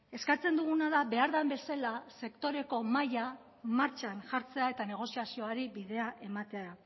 eskatzen duguna da behar den bezala sektoreko mahaia martxan jartzea eta negoziazioari bidea ematea